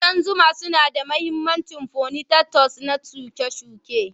Ƙudan zuma suna da mahimmancin follinatas na shuke-shuke.